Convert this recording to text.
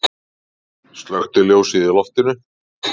Slökkti ljósið í loftinu.